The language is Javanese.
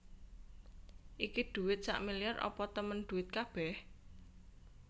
Iki dhuwit sakmiliar apa temen dhuwit kabeh?